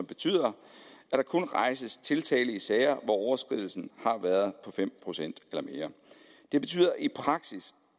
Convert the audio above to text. betyder at der kun rejses tiltale i sager hvor overskridelsen har været på fem procent eller mere det betyder i praksis